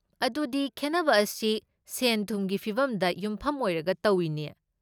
ꯑꯗꯨꯗꯤ, ꯈꯦꯠꯅꯕ ꯑꯁꯤ ꯁꯦꯟꯊꯨꯝꯒꯤ ꯐꯤꯕꯝꯗ ꯌꯨꯝꯐꯝ ꯑꯣꯏꯔꯒ ꯇꯧꯢꯅꯦ?